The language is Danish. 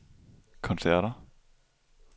koncerter